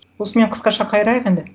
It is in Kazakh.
осымен қысқаша қайырайық енді